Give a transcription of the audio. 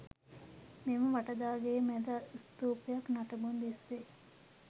මෙම වට දා ගෙය මැද ස්තූපයක නටබුන් දිස් වෙයි.